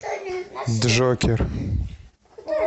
джокер